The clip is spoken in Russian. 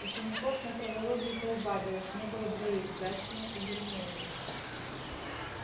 учеников на травологии поубавилось не было двоих джастина и гермионы